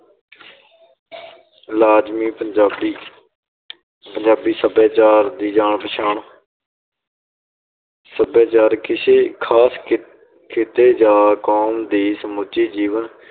ਲਾਜ਼ਮੀ ਪੰਜਾਬੀ ਸਭਿਆਚਾਰ ਦੀ ਜਾਣ ਪਛਾਣ ਸਭਿਆਚਾਰ ਕਿਸੇ ਖ਼ਾਸ ਖਿ~ ਖਿੱਤੇ ਜਾਂ ਕੌਮ ਦੀ ਸਮੁੱਚੀ ਜੀਵਨ